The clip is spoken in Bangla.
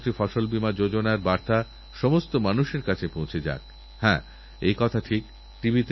সোনাল কেবলমাত্র নিজেদের মাতাপিতার দায়িত্ব ছাড়াও সমাজের চাহিদা পূর্ণ করতে এরকমকঠিন কাজ করেছেন